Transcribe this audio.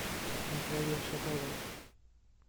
наталья шаталова